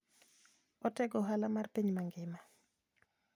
Otego ohala mar piny mangima.